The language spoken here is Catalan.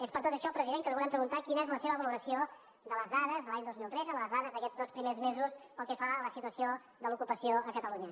és per tot això president que li volem preguntar quina és la seva valoració de les dades de l’any dos mil tretze de les dades d’aquests dos primers mesos pel que fa a la situació de l’ocupació a catalunya